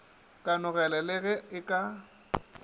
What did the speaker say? kanogelo le ge e ka